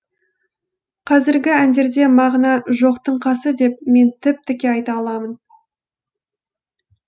қазіргі әндерде мағына жоқтың қасы деп мен тіп тіке айта аламын